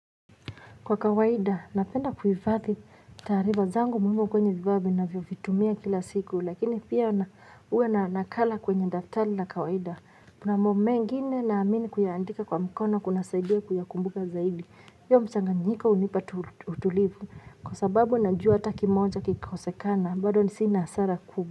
Kwa kawaida, napenda kuhifadhi taarifa zangu muhimu kwenye vifaa ninavyovitumia kila siku, lakini pia huwa na nakala kwenye daftari la kawaida. Kuna mambo mengine naamini kuyaandika kwa mikono kunasaidia kuyakumbuka zaidi. Hiyo mchanganyiko hunipa tu tulivu, kwa sababu najua hata kimoja kikikosekana, bado sina hasara kubwa.